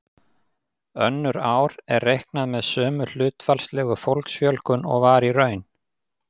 Önnur ár er reiknað með sömu hlutfallslegu fólksfjölgun og var í raun.